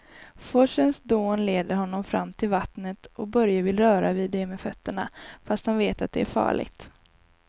Forsens dån leder honom fram till vattnet och Börje vill röra vid det med fötterna, fast han vet att det är farligt.